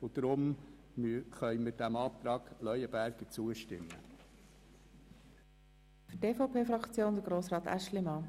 Deshalb können wir diesen Anträgen von Grossrat Leuenberger zustimmen.